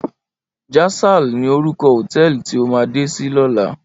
Jasal ni órúkò hótèlí ti mó lò làná